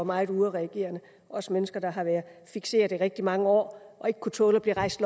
meget udadreagerende også mennesker der havde været fikseret i rigtig mange år og ikke kunne tåle at blive rejst